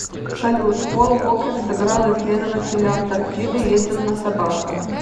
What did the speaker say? салют пол уокер сыграл исследователя антарктиды ездил на собаках